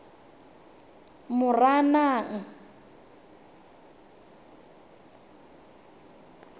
moranang